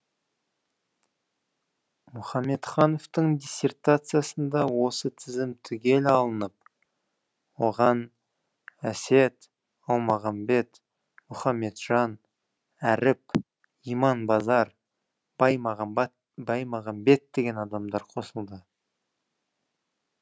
мұхаметхановтың диссертациясында осы тізім түгел алынып оған әсет алмағамбет мұхамметжан әріп иманбазар баймағамбет деген адамдар қосылады